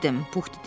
Puh dedi.